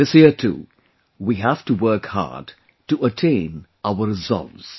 This year too, we have to work hard to attain our resolves